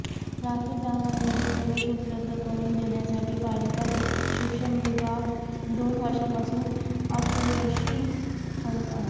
राखीव जागांवरील प्रवेश उपलब्ध करून देण्यासाठी पालिका शिक्षण विभाग दोन वर्षापासून अपयशी ठरत आहे